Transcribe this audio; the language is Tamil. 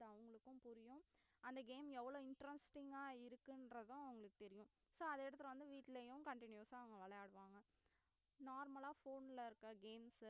அது அவங்களுக்கும் புரியும் அந்த game எவ்வளவு interesting ஆ இருக்குன்றதும் உங்களுக்கு தெரியும் so அதை எடுத்துட்டு வந்து வீட்டுலயும் continuous ஆ அவங்க விளையாடுவாங்க normal phone இருக்கற games உ